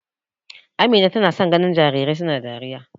Amina tana son ganin jarirai suna dariya.